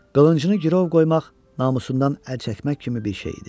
Qılıncını girov qoymaq namusundan əl çəkmək kimi bir şey idi.